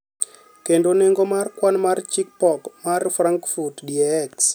kendo nengo mar kwan mar chich pok mar Frankfurt DAX